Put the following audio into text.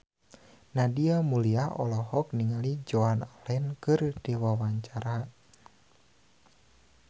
Nadia Mulya olohok ningali Joan Allen keur diwawancara